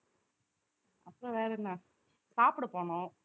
அப்புறம் வேற என்ன சாப்பிட போணும்